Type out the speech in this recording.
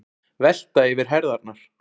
Velta yfir herðarnar.